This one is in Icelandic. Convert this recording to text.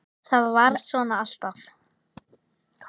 ÞAÐ VARÐ SVONA ALLTAF